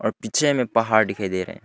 और पीछे में पहाड़ दिखाई दे रहे हैं।